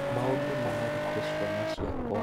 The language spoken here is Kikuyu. maũndũ nĩ maritũ ciana ciakwa